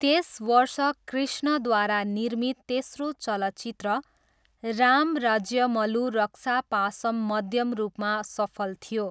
त्यस वर्ष कृष्णद्वारा निर्मित तेस्रो चलचित्र राम राज्यमलू रक्षा पासम् मध्यम रूपमा सफल थियो।